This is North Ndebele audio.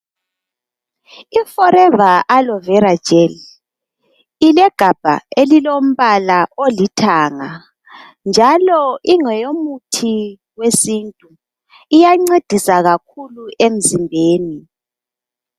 IForever Alovera Gel, ikegabha elilombala olithanga njalo ingeyomuthi wesintu. Iyancedisa kakhulu emzimbeni.